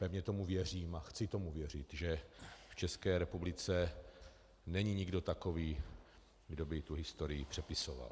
Pevně tomu věřím a chci tomu věřit, že v České republice není nikdo takový, kdo by tu historii přepisoval.